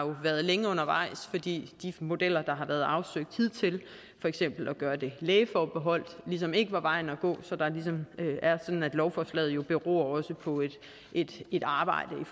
været længe undervejs fordi de modeller der har været afsøgt hidtil for eksempel at gøre det lægeforbeholdt ligesom ikke var vejen at gå så lovforslaget beror også på et arbejde om